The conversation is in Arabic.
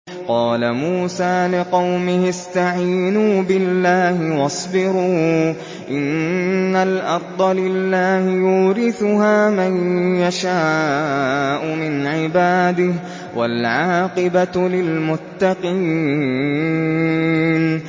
قَالَ مُوسَىٰ لِقَوْمِهِ اسْتَعِينُوا بِاللَّهِ وَاصْبِرُوا ۖ إِنَّ الْأَرْضَ لِلَّهِ يُورِثُهَا مَن يَشَاءُ مِنْ عِبَادِهِ ۖ وَالْعَاقِبَةُ لِلْمُتَّقِينَ